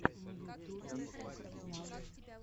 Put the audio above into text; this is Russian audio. на ютубе ял